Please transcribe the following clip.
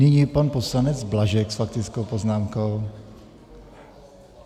Nyní pan poslanec Blažek s faktickou poznámkou.